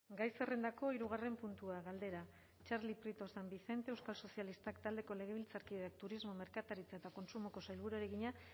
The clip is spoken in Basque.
gai zerrendako hirugarren puntua galdera txarli prieto san vicente euskal sozialistak taldeko legebiltzarkideak turismo merkataritza eta kontsumoko sailburuari egina